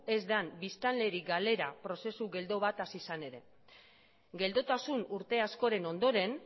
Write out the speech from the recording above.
ez den biztanleri galera prozesu geldo bat hasi zen ere geldotasun urte askoren ondoren